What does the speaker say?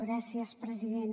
gràcies president